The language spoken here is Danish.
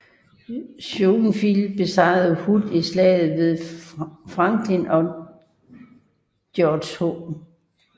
Schofield besejrede Hood i Slaget ved Franklin og George H